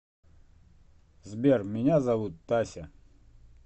сбер меня зовут тася